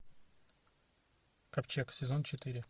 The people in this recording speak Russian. ковчег сезон четыре